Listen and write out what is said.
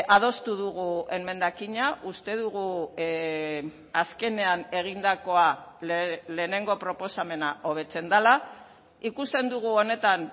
adostu dugu emendakina uste dugu azkenean egindakoa lehenengo proposamena hobetzen dela ikusten dugu honetan